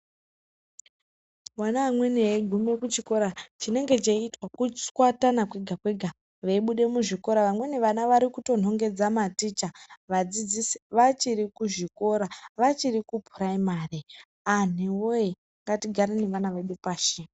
Vana amweni veigume kuchikora chinenge cheiitwa kutchwatana kwega-kwega veibude muzvikora vamweni vana varikutonengedza maticha vadzidzisi vachiri kuzvikora vachiri kupuraimari anhuwoye! ngatigare neana edu pashi.